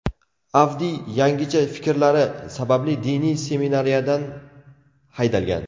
Avdiy yangicha fikrlari sababli diniy seminariyadan haydalgan.